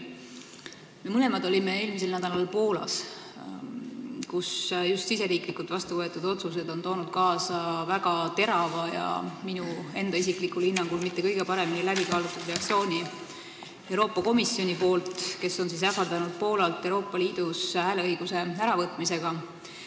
Me mõlemad olime eelmisel nädalal Poolas, kelle riigisisesed otsused on toonud kaasa väga terava ja minu isiklikul hinnangul mitte kõige paremini läbi kaalutud reaktsiooni Euroopa Komisjonilt, kes on ähvardanud Poolat Euroopa Liidus hääleõiguse äravõtmisega.